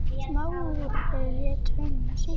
Smári lét höndina síga.